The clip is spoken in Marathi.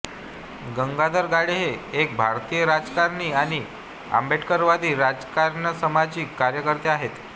गंगाधर गाडे हे एक भारतीय राजकारणी आणि आंबेडकरवादी राजकियसामाजिक कार्यकर्ते आहेत